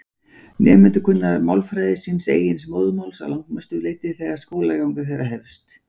Nemendur kunna málfræði síns eigin móðurmáls að langmestu leyti þegar skólaganga þeirra hefst.